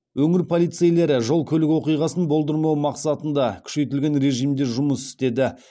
өңір полицейлері жол көлік оқиғасын болдырмау мақсатында күшейтілген режимде жұмыс істеді